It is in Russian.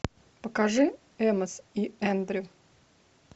покажи эмос и эндрю